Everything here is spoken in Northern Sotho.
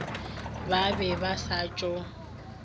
ba be ba sa tšo